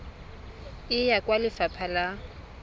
e ya kwa lefapha la